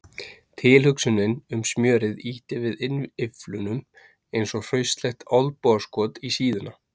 Tilhugsunin um smjörið ýtti við innyflunum eins og hraustlegt olnbogaskot í síðuna.